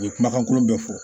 U ye kumakan kolon bɛɛ fɔ